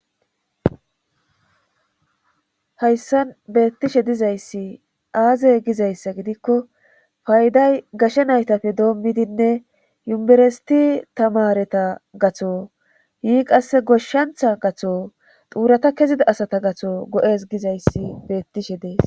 hayssan beettishe dizayssi aaze gizayssa gidikko fayday gashe naytafe doommidinne yuberesiti tamareta gatho yii qasse goshshantha gatho xuurata kezida asata gatho go7es gizayssi beettishe dees